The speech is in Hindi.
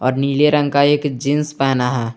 नीले रंग का एक जींस पहना है।